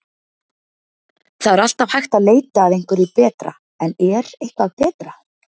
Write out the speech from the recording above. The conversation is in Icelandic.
Það er alltaf hægt að leita að einhverju betra en er eitthvað betra?